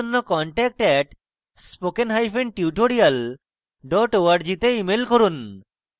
বিস্তারিত তথ্যের জন্য contact @spokentutorial org তে ইমেল করুন